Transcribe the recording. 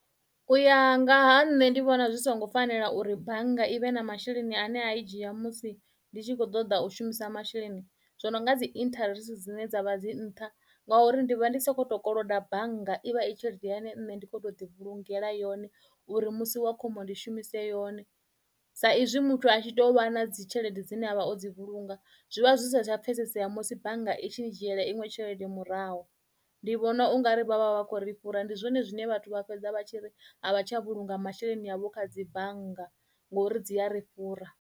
U ya nga ha nṋe ndi vhona zwi songo fanela uri bannga i vhe na masheleni ane a i dzhia musi ndi tshi kho ṱoḓa u shumisa masheleni zwo no nga dzi interest dzine dzavha dzi nṱha ngauri ndi vha ndi soko to koloda bannga i vha i tshelede ine nṋe ndi kho to ḓi vhulungela yone uri musi wa khombo ndi shumise yone, sa izwi muthu a tshi to vha na dzi tshelede dzine avha o dzi vhulunga zwivha zwi sa tsha pfhesesea musi bannga i tshi dzhiela iṅwe tshelede murahu ndi vhona ungari vhavha vha khou ri fhura ndi zwone zwine vhathu vha fhedza vha tshi ri havha tsha vhulunga masheleni avho kha dzi bannga ngori dzi a ri fhura.